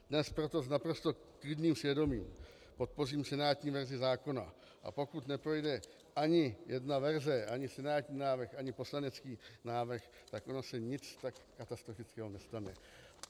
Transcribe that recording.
Dnes proto s naprosto klidným svědomím podpořím senátní verzi zákona, a pokud neprojde ani jedna verze, ani senátní návrh, ani poslanecký návrh, tak ono se nic tak katastrofického nestane.